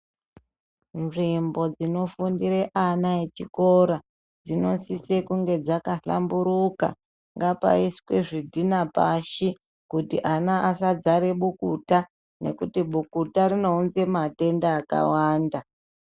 Nzvimbo dzinofundire ana echikora dzinosise kunge dzakahlamburuka ngapaiswe zvidhina pashi pasaite bukuta nekuti bukuta rinounze matenda akawanda.